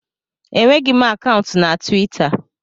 Enweghị m akaụntụ na Twita